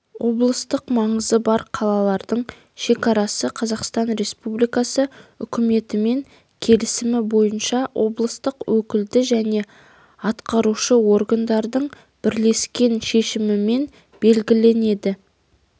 облыстық маңызы бар қалалардың шекарасы қазақстан республикасы үкіметімен келісім бойынша облыстық өкілді және атқарушы органдардың бірлескен шешімімен белгіленеді